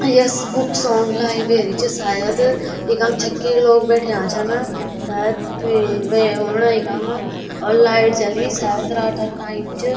Yes book shop library च शायद इखम छक्की लोग बैठया छन शायद कोई वे औणा इखम और लाइट जली शायद रातक टाईम च।